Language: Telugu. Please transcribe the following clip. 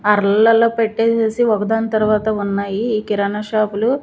అర్లల్లో పెట్టేసేసి ఒకదాని తర్వాత ఉన్నాయి ఈ కిరాణా షాపులు .